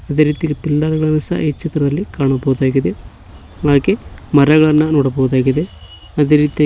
ಅದೇ ರೀತಿ ಪಿಲ್ಲರ್ ಗಳನ್ನು ಸಹ ಈ ಚಿತ್ರದಲ್ಲಿ ಕಾಣಬಹುದಾಗಿದೆ ಹಾಗೆ ಮರಗಳನ್ನು ನೋಡಬಹುದಾಗಿದೆ ಅದೇ ರೀತಿಯ--